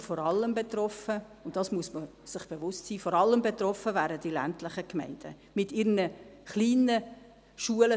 Und vor allem betroffen – dessen muss man sich bewusst sein –, vor allem betroffen wären die ländlichen und kleinen Gemeinden mit ihren zum Teil kleinen Schulen.